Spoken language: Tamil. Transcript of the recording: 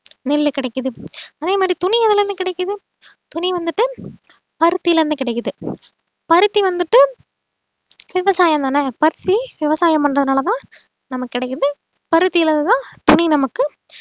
நெல்லு கிடைக்குது அதே மாதிரி துணி எதுல இருந்து கிடைக்குது துணி வந்துட்டு பருத்தில இருந்து கிடைக்குது பருத்தி வந்துட்டு விவசாயம்தானே பருத்தி விவசாயம் பண்றதுனாலதான் நமக்கு கிடைக்குது பருத்திலதான் துணி நமக்கு